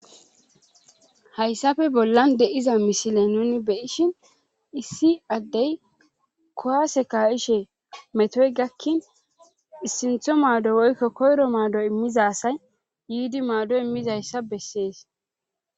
hayssafe bollan de7iza misile nuni beyishin issi addey kowase ka7ishe metoy gakkin sintho maado woykko koyro maado immizasay yiidi maado immizayssa bessees